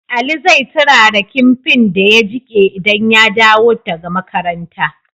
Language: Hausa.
Ali zai turara kinfin da ya jike idan ya dawo daka makaranta